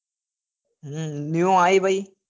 હમ નેવું આયી પહી